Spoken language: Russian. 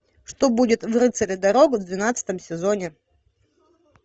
что будет в рыцаре дорог в двенадцатом сезоне